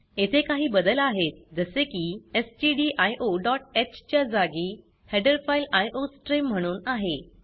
येथे काही बदल आहेत जसे की stdioह च्या जागी हेडर फाइल आयोस्ट्रीम म्हणून आहे